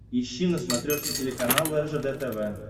ищи на смотрешке телеканал ржд тв